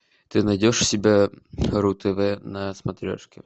ты найдешь у себя ру тв на смотрешке